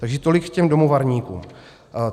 Takže tolik k těm domovarníkům.